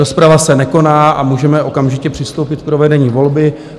Rozprava se nekoná a můžeme okamžitě přistoupit k provedení volby.